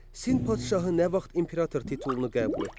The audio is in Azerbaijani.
Sin padşahı nə vaxt imperator titulunu qəbul etdi?